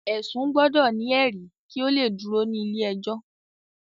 ẹsun gbọdọ ni eri kí o le dúró ní ilé ẹjọ